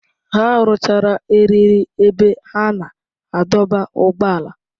Ha rụchara eriri ebe a na-adọba ụgbọala.